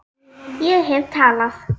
Ég hef talað